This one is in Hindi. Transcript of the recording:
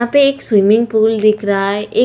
यहाँ पे एक स्विमिंग पूल दिख रहा है। एक--